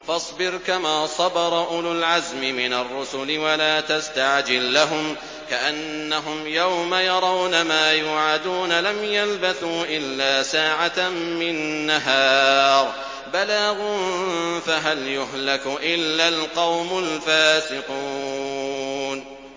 فَاصْبِرْ كَمَا صَبَرَ أُولُو الْعَزْمِ مِنَ الرُّسُلِ وَلَا تَسْتَعْجِل لَّهُمْ ۚ كَأَنَّهُمْ يَوْمَ يَرَوْنَ مَا يُوعَدُونَ لَمْ يَلْبَثُوا إِلَّا سَاعَةً مِّن نَّهَارٍ ۚ بَلَاغٌ ۚ فَهَلْ يُهْلَكُ إِلَّا الْقَوْمُ الْفَاسِقُونَ